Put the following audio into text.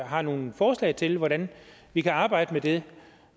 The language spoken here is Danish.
har nogen forslag til hvordan vi kan arbejde med det